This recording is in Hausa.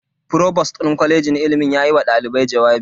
Provost din kwalejin ilimin yayi wa dalibai jawabi.